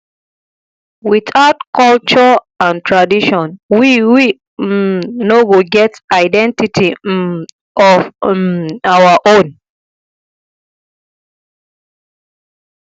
without culture and tradition we we um no go get identity um of um our own